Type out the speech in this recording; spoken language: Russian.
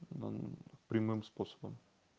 он прямым способом